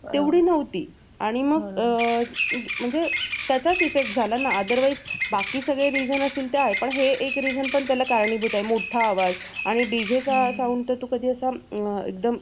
तेवढी नव्हती आणि मग म्हणजे त्याचाच effect झाला ना otherwise बाकी सगळे reason असते ते आहेत पण हे सुद्धा एक reason त्याला कारणीभूत आहे मोठा आवाज आणि DJ चा sound तो असा कधी एकदम